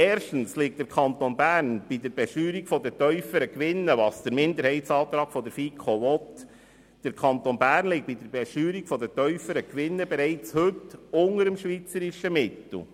Erstens liegt der Kanton Bern bei der Besteuerung der tieferen Gewinne, wie sie der Minderheitsantrag der FiKo wünscht, bereits heute unter dem schweizerischen Mittel.